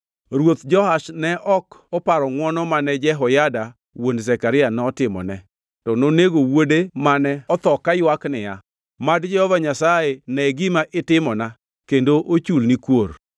Ruoth Joash ne ok oparo ngʼwono mane Jehoyada wuon Zekaria notimone, to nonego wuode mane otho kaywak niya, “Mad Jehova Nyasaye ne gima itimona kendo ochulni kuor.”